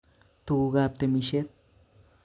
Tuku'kap temishet